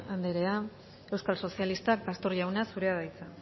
andrea euskal sozialistak pastor jauna zurea da hitza